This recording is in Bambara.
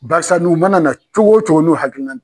Barisa n'u mana na cogo o cogo n'u hakilina.